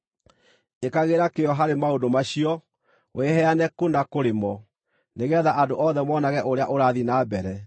Ĩkagĩra kĩyo harĩ maũndũ macio; wĩheane kũna kũrĩ mo, nĩgeetha andũ othe monage ũrĩa ũrathiĩ na mbere.